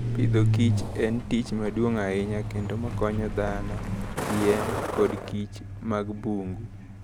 Agriculture and Food en tich maduong' ahinya kendo makonyo dhano, yien, koda kich mag bungu.